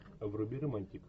вруби романтик